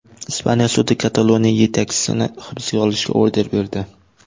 Ispaniya sudi Kataloniya yetakchisini hibsga olishga order berdi.